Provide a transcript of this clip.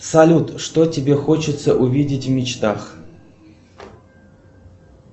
салют что тебе хочется увидеть в мечтах